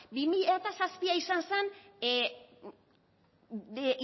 bi mila zazpia izan zan